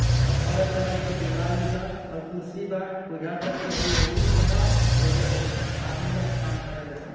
और colour colour के दीवाल भी बा और कुर्सी बा बुजाता कि हय ऑफ़िस ह यहिजा बहुत आदमी आके काम करे ला सन।